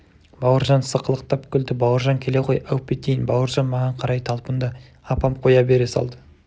бауыржан сықылықтап күлді бауыржан келе ғой әуп етейін бауыржан маған қарай талпынды апам қоя бере салды